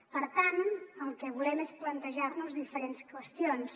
per tant el que volem és plantejar nos diferents qüestions